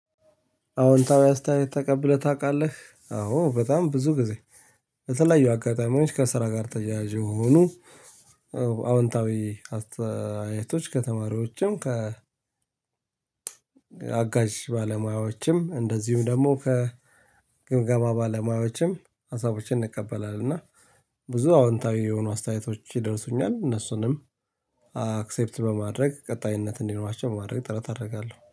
አወንታዊ አስተያየት ተቀብለክ ታውቃለክ አዎ በጣም ብዙ ጊዜ። በተለያዩ አጋታሚዎችህ ከስራ ጋር ተያያዝ የሆኑ። አወንታዊ አስተያየቶች ከተማሪዎችህም ከ አጋዝ ባለሞያዎችህም እንደዚሁም ደግሞ ግምገማ ባለሞያዎችህም ሀሳቦችን እንከበላለን እና ብዙ አወንታዊ አስተያየቶችግ ይደርሱኛል። እነሱንም አችቸፕት በማረግ ከታይነት እንዲኖራችሁው ትረት አረጋለው